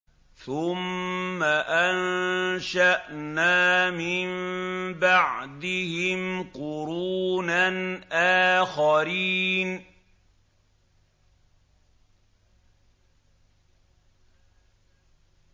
ثُمَّ أَنشَأْنَا مِن بَعْدِهِمْ قُرُونًا آخَرِينَ